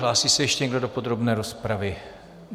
Hlásí se ještě někdo do podrobné rozpravy?